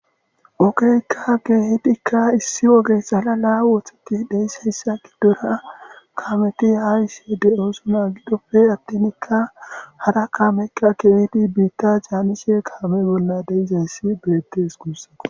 Ogeeykka geehidikka issi woge salala wotheti deeyssayssa gi dora kaameti ha isse de7oosuna gidoppe attinikka hara kaamekka keehidi biitta jaanishe kaame bolla deizayssi beettes gunssako.